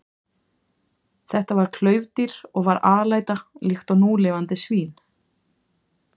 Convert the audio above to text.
Þetta var klaufdýr og var alæta líkt og núlifandi svín.